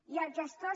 i els gestors